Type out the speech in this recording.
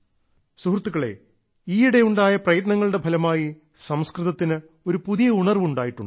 സുഹൃത്തുക്കളെ ഈയിടെയുണ്ടായ പ്രയത്നങ്ങളുടെ ഫലമായി സംസ്കൃതത്തിന് ഒരു പുതിയ ഉണർവ് ഉണ്ടായിട്ടുണ്ട്